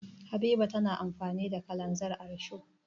Habiba na amfani da kananzir a risho.